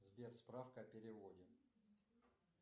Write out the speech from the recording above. сбер справка о переводе